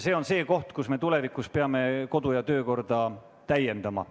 See on see koht, kus me tulevikus peame kodu- ja töökorra seadust täiendama.